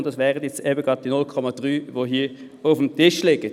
und das wären nun eben gerade die 0,3 Prozent, die hier auf dem Tisch liegen.